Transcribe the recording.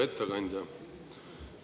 Hea ettekandja!